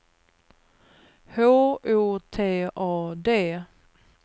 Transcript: H O T A D